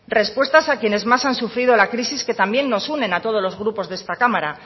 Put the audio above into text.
respuestas a quienes más han sufrido la crisis que también nos une a todos los grupos de esta cámara